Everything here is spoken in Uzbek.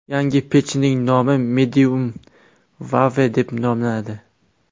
Yangi pechning nomi Mediumwave deb nomlanadi.